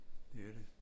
Det er det